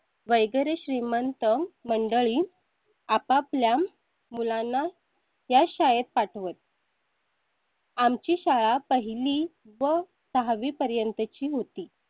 वगैरे श्रीमंत मंडळी आपापल्या मुलांना या शाळेत पाठवत. आमची शाळा पहिली व सहावी पर्यंत ची होती.